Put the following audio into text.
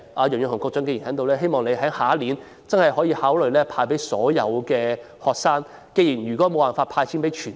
楊潤雄局長現時在席，希望他下年度能夠考慮向所有學生派發津貼。